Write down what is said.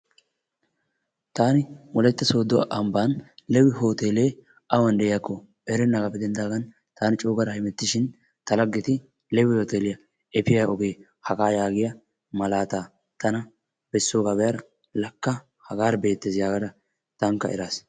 taani Wolaytta Sooddo ambban Lewi hooteele awan de'iyakko erennaagaappe denddaagan taani coo gaada hemettishin ta laggeti Lewi hooteeliyaa efiyaa oge haga yaagiya malaata tana bessooga be'ada lakka hagara beettees yaagada tankka eraas.